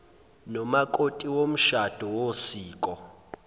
nomakoti womshado wosiko